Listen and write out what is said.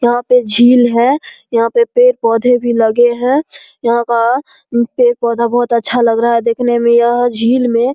यहाँ पे झील है यहाँ पे पेड़-पौधे भी लगे हैं यहाँ का पेड़-पौधा बहुत अच्छा लग रहा है देखने में यह झील में --